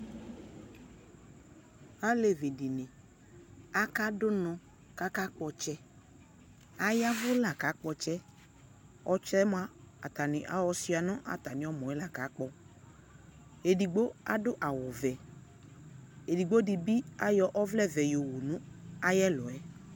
alevidɩnɩ akadʊ unɔ kʊ akakpɔ ɔtsɛ, ay'ɛvʊ la kakpɔ ɔtsɛ yɛ, atanɩ ayɔ ɔtsɛ yɛ yɔ suia nʊ ɛmɔ kakpɔ, edigbo adʊ awu vɛ, edigbo dɩ bɩ ɔvlɛ vɛ yɔwu nʊ ɛlʊ